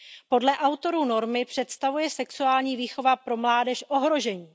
Podle autorů normy představuje sexuální výchova pro mládež ohrožení.